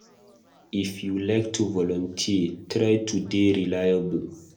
If you go like to volunteer, try to dey reliable